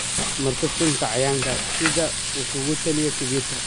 Marso sunta cayayaanka sida uu ku taliyey khabiir.